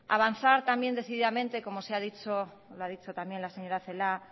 hay que avanzar también decididamente como se ha dicho lo ha dicho también la señora celaá